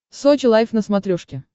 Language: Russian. сочи лайв на смотрешке